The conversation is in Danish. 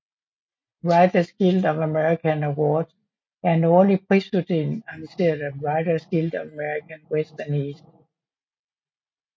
Writers Guild of America Awards er en årlig prisuddeling arrangeret af Writers Guild of America West og East